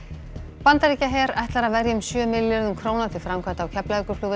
Bandaríkjaher ætlar að verja um sjö milljörðum króna til framkvæmda á Keflavíkurflugvelli